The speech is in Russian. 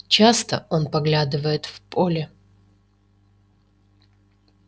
часто он поглядывает в поле